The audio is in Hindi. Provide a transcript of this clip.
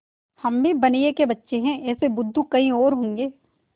हम भी बनिये के बच्चे हैं ऐसे बुद्धू कहीं और होंगे